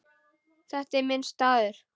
Þetta er minn staður.